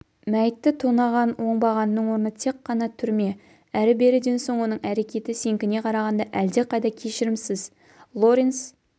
мәйітті тонаған оңбағанның орны тек қана түрме әрі-беріден соң оның әрекеті сенікіне қарағанда әлдеқайда кешірімсіз лоренс